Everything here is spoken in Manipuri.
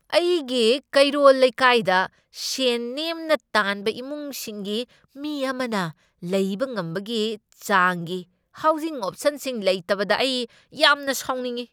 ꯑꯩꯒꯤ ꯀꯩꯔꯣꯜ ꯂꯩꯀꯥꯢꯗ ꯁꯦꯟ ꯅꯦꯝꯅ ꯇꯥꯟꯕ ꯏꯃꯨꯡꯁꯤꯡꯒꯤ ꯃꯤ ꯑꯃꯅ ꯂꯩꯕ ꯉꯝꯕꯒꯤ ꯆꯥꯡꯒꯤ ꯍꯥꯎꯖꯤꯡ ꯑꯣꯞꯁꯟꯁꯤꯡ ꯂꯩꯇꯕꯗ ꯑꯩ ꯌꯥꯝꯅ ꯁꯥꯎꯅꯤꯡꯢ꯫